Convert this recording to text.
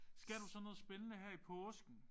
Skal du så noget spændende her i påsken?